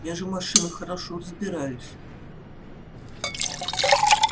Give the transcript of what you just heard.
я же в машинах хорошо разбираюсь